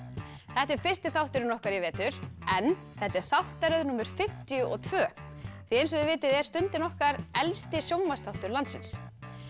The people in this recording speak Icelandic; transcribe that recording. þetta er fyrsti þátturinn okkar í vetur en þetta er þáttaröð númer fimmtíu og tvö eins og þið vitið er Stundin okkar elsti sjónvarpsþáttur landsins